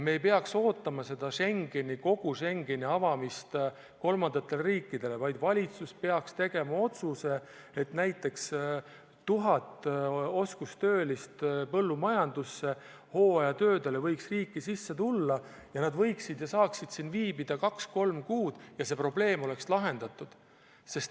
Me ei peaks ootama kogu Schengeni avamist kolmandatele riikidele, vaid valitsus peaks tegema otsuse, et näiteks 1000 põllumajanduse oskustöölist võiks hooajatöödele riiki sisse tulla ja nad saaksid siin viibida kaks-kolm kuud, ja see probleem oleks lahendatud.